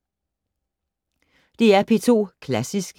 DR P2 Klassisk